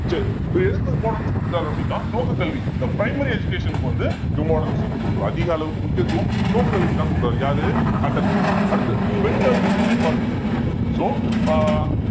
சரி இவர் எதுக்கு ஒரு importance கொடுக்கிறாரு அப்படின்னா துவக்கக்கல்வி இந்த primary education க்கு வந்து importance வந்து கொடுக்கிறோம் அதிக அளவுக்கு முக்கியத்துவம் துவக்கக்கல்விக்குத்தான் கொடுக்கிறாரு யாரு ஹண்டர் commission அடுத்து பெண் கல்விக்கும் மேம்பாடு so அஹ்